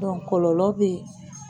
kɔlɔlɔ bɛ.